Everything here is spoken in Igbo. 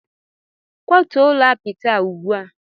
Kwatuo ụlọ apịtị a ugbu a!